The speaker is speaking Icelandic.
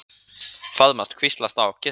Faðmast, hvíslast á, kyssast.